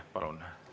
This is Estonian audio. Palun!